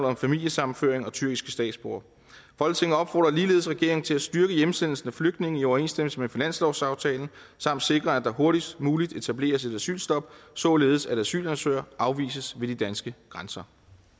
om familiesammenføring og tyrkiske statsborgere folketinget opfordrer ligeledes regeringen til at styrke hjemsendelsen af flygtninge i overensstemmelse med finanslovsaftalen samt sikre at der hurtigst muligt etableres et asylstop således at asylansøgere afvises ved de danske grænser